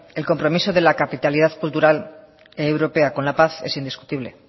el compromiso de la capitalidad cultural europea con la paz es indiscutible